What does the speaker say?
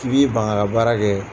k' bi ban k'a ka baara kɛ